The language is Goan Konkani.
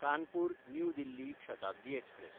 कानपूर–न्यू दिल्ली शताब्दी एक्सप्रॅस